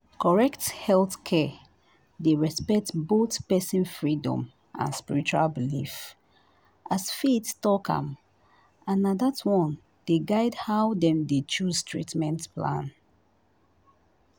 correct healthcare dey respect both person freedom and spiritual belief as faith talk am and na that one dey guide how dem dey choose treatment